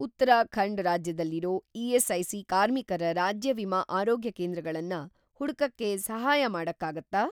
ಉತ್ತರಾಖಂಡ್ ರಾಜ್ಯದಲ್ಲಿರೋ ಇ.ಎಸ್.ಐ.ಸಿ. ಕಾರ್ಮಿಕರ ರಾಜ್ಯ ವಿಮಾ ಆರೋಗ್ಯಕೇಂದ್ರಗಳನ್ನ ಹುಡ್ಕಕ್ಕೆ ಸಹಾಯ ಮಾಡಕ್ಕಾಗತ್ತಾ?